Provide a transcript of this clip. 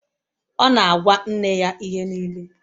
Ọ na-agwa nne ya ihe niile